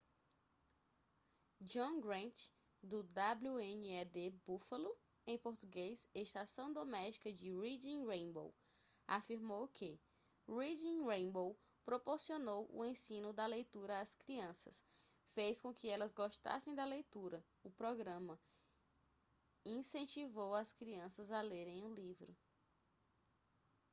john grant do wned buffalo em português ''estação doméstica de reading rainbow'' afirmou que: reading rainbow proporcionou o ensino da leitura às crianças ... fez com que elas gostassem da leitura - [o programa] incentivou as crianças a lerem um livro.